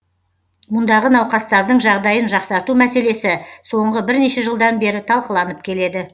мұндағы науқастардың жағдайын жақсарту мәселесі соңғы бірнеше жылдан бері талқыланып келеді